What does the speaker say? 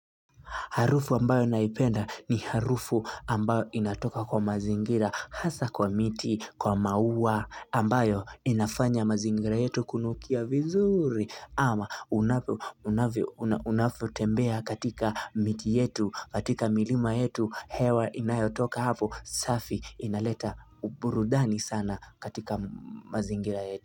Harufu ambayo naipenda ni harufu ambayo inatoka kwa mazingira hasa kwa miti, kwa maua ambayo inafanya mazingira yetu kunukia vizuri ama unavyo unavyotembea katika miti yetu, katika milima yetu, hewa inayotoka hapo safi inaleta uburudani sana katika mazingira yetu.